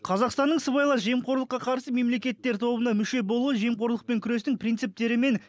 қазақстанның сыбайлас жемқорлыққа қарсы мемлекеттер тобына мүше болуы жемқорлықпен күрестің принциптері мен